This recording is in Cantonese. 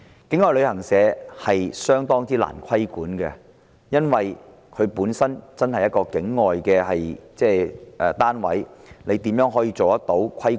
境外旅行社相當難以規管，因為它們本身是境外的單位，如何可以規管？